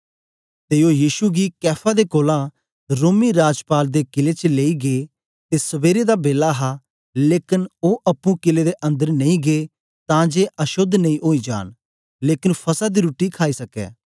ते ओ यीशु गी कैफा दे कोलां रोमी राजपाल दे कीले च लेई गै ते सबेरे दा बेला हा लेकन ओ अप्पुं कीले दे अंदर नेई गै तां जे अशोद्ध नेई ओई जान लेकन फसह दी रुट्टी खाई सकै